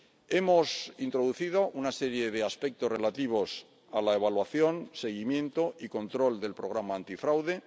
Hemos introducido una serie de aspectos relativos a la evaluación, seguimiento y control del Programa antifraude.